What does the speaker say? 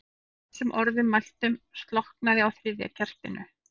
Að þessum orðum mæltum slokknaði á þriðja kertinu.